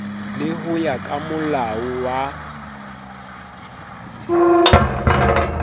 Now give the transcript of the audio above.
le ho ya kamolao wa